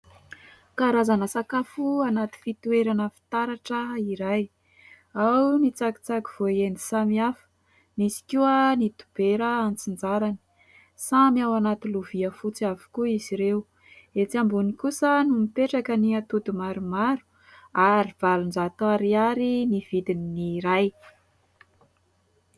Karazana sakafo anaty fitoerana fitaratra iray, ao ny tsakitsaky voaendy samihafa, misy koa ny dobera an-tsinjarany. Samy ao anaty lovia fotsy avokoa izy ireo. Etsy ambony kosa no mipetraka ny atody maromaro ary valonjato ariary ny vidin'ny iray.